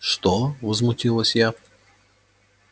что возмутилась я